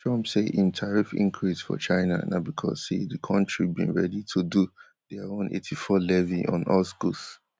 trump say im tariff increase for china na becos say di kontri bin ready to do dia own eighty-four levy on us goods